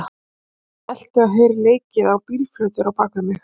Ég elti, og heyri leikið á bílflautur á bakvið mig.